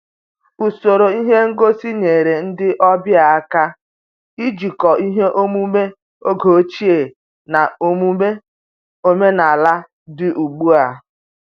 Usoro ihe ngosi nyere ndị ọbịa aka ijikọ ihe omume oge ochie na omume omenala dị ugbu a